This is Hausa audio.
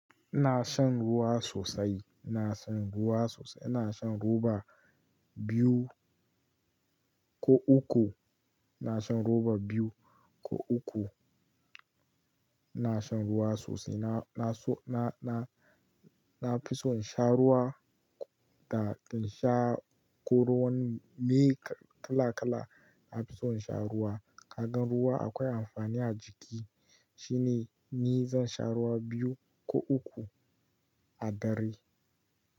Ina shan ruwa sosai, ina shan ruwa sosai. Ina shan roba biyu ko uku, ina shan roba biyu ko uku. Ina shan ruwa sosai. Na, na, so, na, na fi son sha ruwa da in sha ko ruwan me kala kala. Na fi son in sha ruwa. Ka gan ruwa akwai amfani a jiki shine ni zan sha ruwa biyu ko uku a dare.